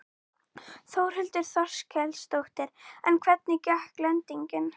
Þórhildur Þorkelsdóttir: En hvernig gekk lendingin?